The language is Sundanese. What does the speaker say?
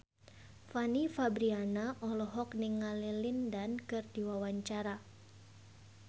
Fanny Fabriana olohok ningali Lin Dan keur diwawancara